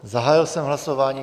Zahájil jsem hlasování.